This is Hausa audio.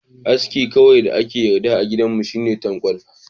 Aski kawai da aka yarda a gidanmu shine tankwal.